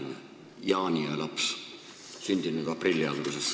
Mina olen jaaniöö laps, sündinud aprilli alguses.